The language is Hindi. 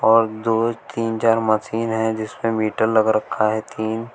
और दो तीन चार मशीन है जिसपे मीटर लग रखा है तीन।